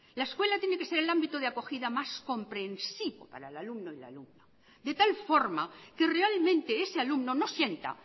la escuela tiene que ser el ámbito de acogida más comprensivo para el alumno y la alumna de tal forma que realmente ese alumno no sienta